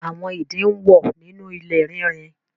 Àwọn ìdin ń wọ́ nínú ilé rínrin